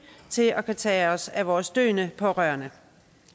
til at kunne tage os af vores døende pårørende